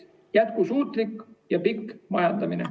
Jätkusuutlik ja pikk majandamine.